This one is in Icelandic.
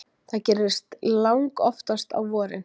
Það gerist langoftast á vorin.